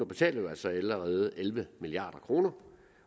betaler jo altså allerede elleve milliard kroner